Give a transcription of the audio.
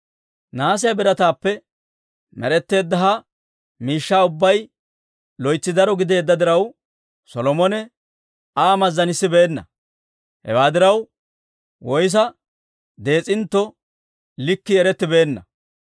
Nahaasiyaa birataappe med'etteedda ha miishshaa ubbay loytsi dara gideedda diraw, Solomone Aa mazzanissibeenna; hewaa diraw, woyssa dees'intto likkii erettibeenna.